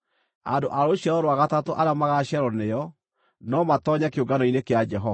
Andũ a rũciaro rwa gatatũ arĩa magaaciarwo nĩo, no matoonye kĩũngano-inĩ kĩa Jehova.